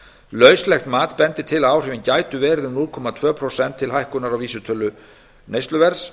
lauslegt mat bendir til að áhrifin gætu verið um núll komma tvö prósent til hækkunar á vísitölu neysluverðs